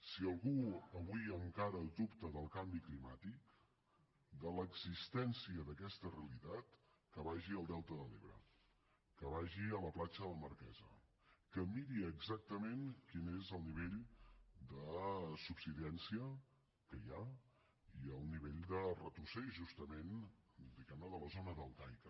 si algú avui encara dubta del canvi climàtic de l’existència d’aquesta realitat que vagi al delta de l’ebre que vagi a la platja de la marquesa que miri exactament quin és el nivell de subsidència que hi ha i el nivell de retrocés justament diguem ne de la zona deltaica